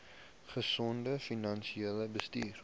gesonde finansiële bestuur